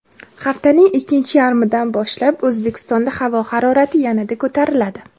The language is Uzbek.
Haftaning ikkinchi yarmidan boshlab O‘zbekistonda havo harorati yanada ko‘tariladi.